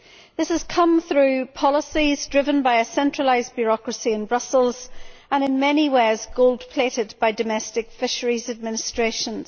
This has come through policies driven by a centralised bureaucracy in Brussels and is in many ways gold plated by domestic fisheries administrations.